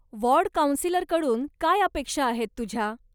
Ward काउन्सिलरकडून काय अपेक्षा आहेत तुझ्या?